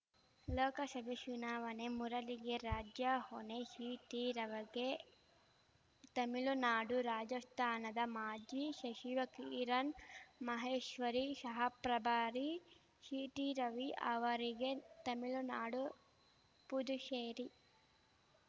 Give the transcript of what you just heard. ಲೋಕಶಭೆ ಚುನಾವಣೆ ಮುರಳಿಗೆ ರಾಜ್ಯ ಹೊಣೆ ಶಿಟಿ ರವಗೆ ತಮಿಳುನಾಡು ರಾಜಶ್ಥಾನದ ಮಾಜಿ ಶಚಿವೆ ಕಿರಣ್‌ ಮಹೇಶ್ವರಿ ಶಹಪ್ರಭಾರಿ ಶಿಟಿರವಿ ಅವರಿಗೆ ತಮಿಳುನಾಡು ಪುದುಚೇರಿ